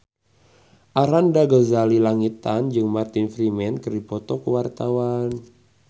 Arlanda Ghazali Langitan jeung Martin Freeman keur dipoto ku wartawan